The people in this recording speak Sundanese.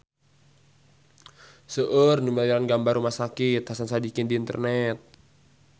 Seueur nu milarian gambar Rumah Sakit Hasan Sadikin di internet